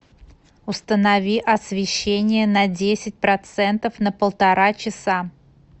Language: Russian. установи освещение на десять процентов на полтора часа